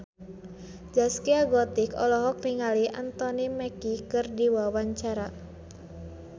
Zaskia Gotik olohok ningali Anthony Mackie keur diwawancara